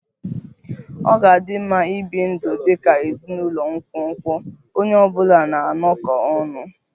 Ọ ga-adị mma ibi ndụ dị ka ezinụlọ nkwonkwo, onye ọ bụla na-anọkọ ọnụ